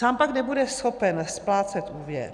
Sám pak nebude schopen splácet úvěr.